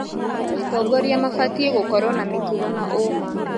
Atongoria mabatiĩ gũkorwo na mĩtugo na ũma